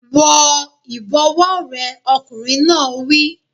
Wọ ìbọ̀wọ́ rẹ! Ọkùnrin náà wí.